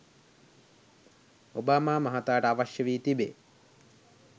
Obama මහතාට අවශ්‍ය වී තිබේ.